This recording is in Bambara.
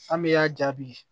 An bɛ y'a jaabi